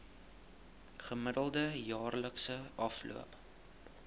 gemiddelde jaarlikse afloop